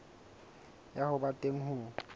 ya ho ba teng ho